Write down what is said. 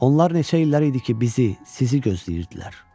Onlar neçə illər idi ki, bizi, sizi gözləyirdilər.